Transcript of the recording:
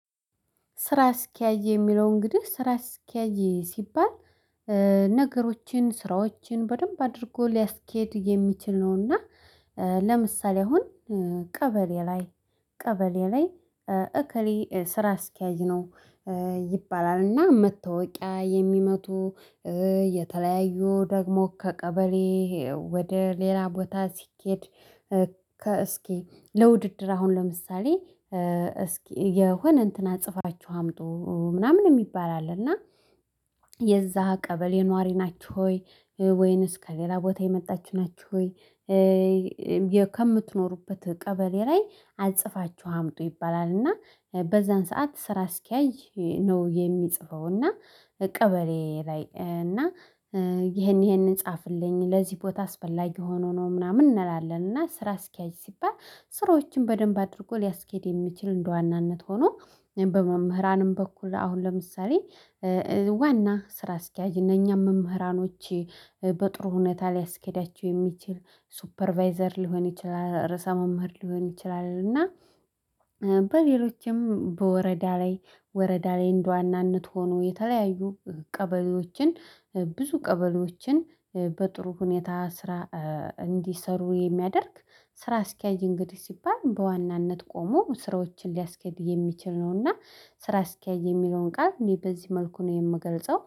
ስራ አስኪያጅ የሚለው እንግዲህ ስራ አስኪያጅ ሲባል ነገሮችን ስራዎችን በደንብ አድርጎ ሊያስኬድ የሚችል ነው። እና ለምሳሌ አሁን ቀበሌ ላይ ቀበሌ ላይ እከሌ ስራ አስኪያጅ ነው ይባላል። እና መታወቂያ የሚመቱ የተለያዩ ደግሞ ከቀበሌ ወደ ሌላ ቦታ ሲኬድ እስኪ ለውድድር አሁን ለምሳሌ እስኪ የሆነ እንትን አስጽፋችሁ አምጡ ምናምን የሚባል አለ። እና የዛ ቀበሌ ነዋሪ ናችሁ ወይ ወይንስ ከሌላ ቦታ የመጣችው ናችሁ ወይ ከምትኖሩበት ቀበሌ ላይ አስጽፋችሁ አምጡ ይባላል። እና በዛን ሰዓት ስራ አስኪያጅ ነው የሚጽፈው። እና ቀበሌ ላይ እና ይሄንን ይሄንን ጻፍልኝ ለዚህ ቦታ አስፈላጊ ሆኖ ነው ምናምን እንላለን። እና ስራ አስኪያጅ ሲባል ስራዎችን በደንብ አድርጎ ሊያስኬድ የሚችል እንደዋናነት ሆኖ በመምህራንም በኩል አሁን ለምሳሌ ዋና ስራ አስኪያጅ እነኛ መምህራኖች በጥሩ ሁኔታ ሊያስኬዳቸው የሚችል ሱፐርቫይዘር ሊሆን ይችላል፣ ርዕሰ መምህር ሊሆን ይችላል። እና በሌሎችም በወረዳ ላይ እንደ ዋናነት ሆኖ የተለያዩ ቀበሌዎችን ብዙ ቀበሌዎችን በጥሩ ሁኔታ ስራ እንዲሰሩ የሚያደርግ ስራ አስኪያጅ እንግዲህ ሲባል በዋናነት ቆሞ ስራዎችን ሊያስኬድ የሚችል ነው። እና ስራ አስኪያጅ የሚለውን ቃል እኔ በዚህ መልኩ ነው የምገልጸው።